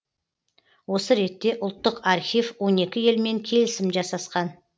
осы ретте ұлттық архив он екі елмен келісім жасасқан